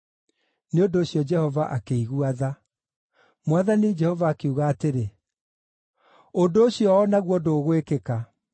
Nĩ ũndũ ũcio Jehova akĩigua tha. Mwathani Jehova akiuga atĩrĩ, “Ũndũ ũcio o naguo ndũgwĩkĩka.”